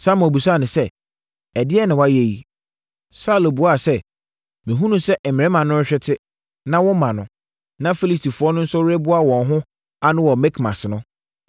Samuel bisaa no sɛ, “Ɛdeɛn na woayɛ yi?” Saulo buaa sɛ, “Mehunuu sɛ mmarima no rehwete, na womma no, na Filistifoɔ no nso reboa wɔn ho ano wɔ Mikmas no,